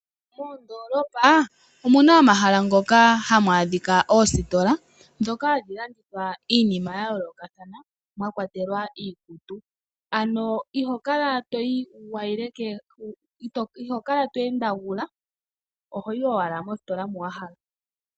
Moondolopa omuna omahala moka muna oositola hadhi landitha iinima ya yoolokothana mwakwatelwa iikutu. Ano iho kala to endagula ohoyi owala mositola moka wahala.